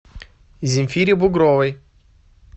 земфире бугровой